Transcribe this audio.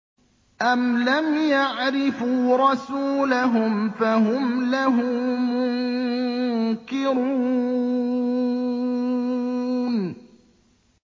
أَمْ لَمْ يَعْرِفُوا رَسُولَهُمْ فَهُمْ لَهُ مُنكِرُونَ